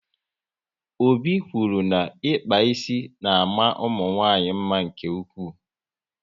Obi kwụrụ na ịkpa ísì na ama ụmụnwanyị mma nke ụkwụ